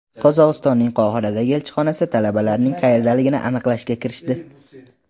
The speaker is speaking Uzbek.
Qozog‘istonning Qohiradagi elchixonasi talabalarning qayerdaligini aniqlashga kirishdi.